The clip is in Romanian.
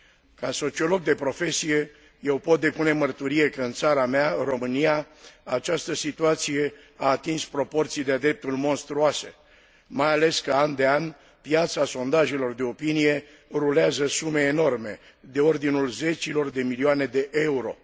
Ca sociolog de profesie, eu pot depune mărturie că, în țara mea, România, această situație a atins proporții de a dreptul monstruoase, mai ales că, an de an, piața sondajelor de opinie rulează sume enorme, de ordinul zecilor de milioane de euro.